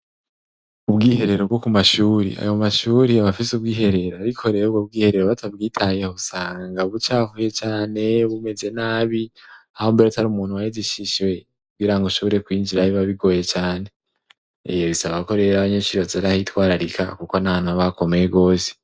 ubwiherero bwo ku mashuri, ayo mashuri abafise ubwiherero, ariko rero ubwo bwiherero batabwitayeho usanga bucafuye cane, bumeze nabi hambere atari umuntu waheze ishisho biranka ng'ushore kwinjirayo biba bigoye cane, bisaba ko rero abanyenshuri baza bahitwararika kuko nahantu haba hakomeye gose.